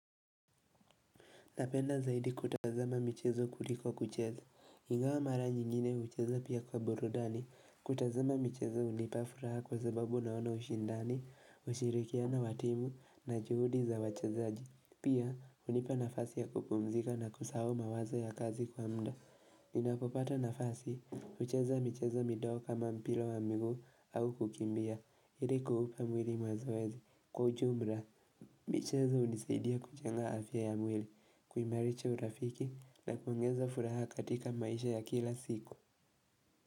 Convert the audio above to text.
Napenda zaidi kutazama michezo kuliko kucheza, ingawa mara nyingine ucheza pia kwa burudani, kutazama michezo unipafuraha kwa sababu naona ushindani, ushirikiana watimu na juhudi za wachezaji, pia unipa nafasi ya kupumzika na kusahau mawazo ya kazi kwa mda, ninapopata nafasi, ucheza michezo midogo kama mpila wa miguu au kukimbia, ili kuhupa mwiri mazoezi, kwa ujumra. Mwiri kuimarisha urafiki na kuongeza furaha katika maisha ya kila siku.